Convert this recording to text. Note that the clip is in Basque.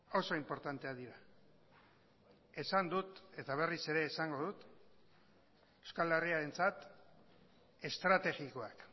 oso inportanteak dira esan dut eta berriz ere esango dut euskal herriarentzat estrategikoak